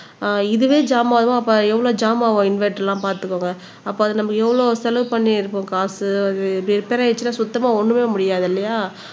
ஆஹ் இதுவே ஜாம் ஆகும் அப்ப எவ்வளவு ஜாம் ஆகும் இன்வெர்டர் எல்லாம் பார்த்துக்கோங்க அப்ப அது நம்ம எவ்வளவு செலவு பண்ணி இருப்போம் காசு அது இது ரிப்பேர் ஆயிடுச்சுன்னா சுத்தமா ஒண்ணுமே முடியாது இல்லையா